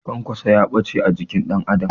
Kwankwaso gaɓace a jikin ɗan Adam